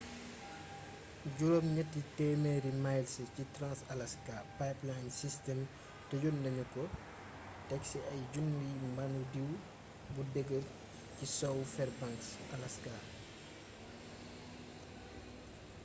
800 miles ci trans-alaska pipeline system tëjonnagnuko téksi ay junniy mbandu diw bu deegeer ci sowwu fairbanks alaska